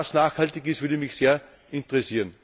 Ob das nachhaltig ist, würde mich sehr interessieren.